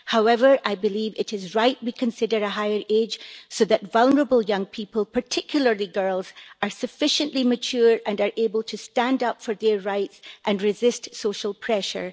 However, I believe it is right we consider a higher age so that vulnerable young people, particularly girls, are sufficiently mature and are able to stand up for their rights and resist social pressure.